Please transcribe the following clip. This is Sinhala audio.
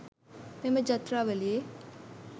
මෙම ඡත්‍රාවලියේ